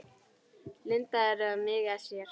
Lindu eða mig með sér.